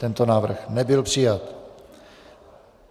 Tento návrh nebyl přijat.